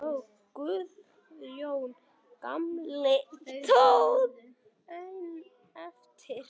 Guðjón gamli stóð einn eftir.